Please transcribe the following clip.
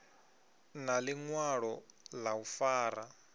na ḽiṅwalo ḽa u fara